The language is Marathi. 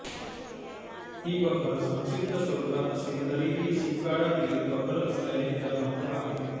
ही बखर संक्षिप्त स्वरूपात असली तरी ही शिवकाळातील बखर असल्याने तिला महत्त्व आहे